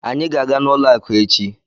Anyị ga-aga n'ụlọ akụ echi.